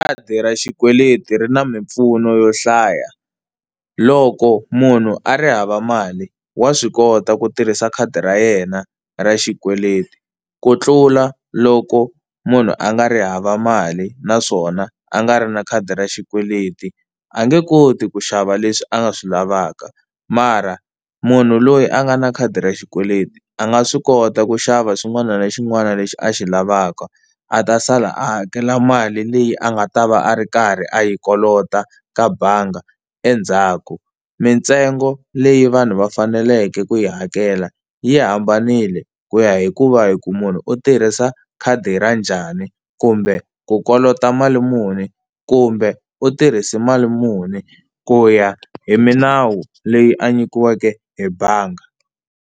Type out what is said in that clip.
Khadi ra xikweleti ri na mimpfuno yo hlaya. Loko munhu a ri hava mali wa swi kota ku tirhisa khadi ra yena ra xikweleti ku tlula loko munhu a nga ri hava mali naswona a nga ri na khadi ra xikweleti, a nge koti ku xava leswi a nga swi lavaka mara munhu loyi a nga na khadi ra xikweleti a nga swi kota ku xava xin'wana na xin'wana lexi a xi lavaka a ta sala a hakela mali leyi a nga ta va a ri karhi a yi kolota ka bangi endzhaku. Mintsengo leyi vanhu va faneleke ku yi hakela yi hambanile ku ya hikuva hi ku munhu u tirhisa khadi ra njhani, kumbe u kolota mali muni, kumbe u tirhise mali muni ku ya hi minawu leyi a nyikiweke hi bangi.